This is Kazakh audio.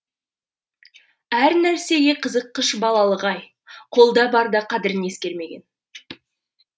әр нәрсеге қызыққыш балалық ай қолда барда қадірін ескермеген